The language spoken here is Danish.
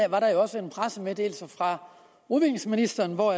var der jo også en pressemeddelelse se fra udviklingsministeren hvor